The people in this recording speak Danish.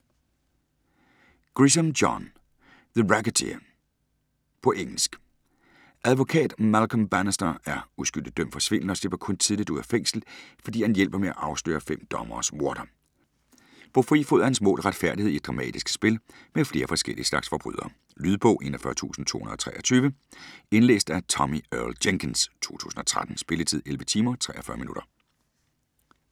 Grisham, John: The racketeer På engelsk. Advokat Malcom Bannister er uskyldig dømt for svindel og slipper kun tidligt ud af fængsel, fordi han hjælper med at afsløre fem dommeres morder. På fri fod er hans mål retfærdighed i et dramatisk spil med flere forskellige slags forbrydere. Lydbog 41223 Indlæst af Tommie Earl Jenkins, 2013. Spilletid: 11 timer, 43 minutter.